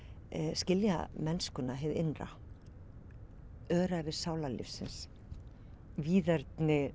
skilja mennskuna hið innra öræfi sálarlífsins víðerni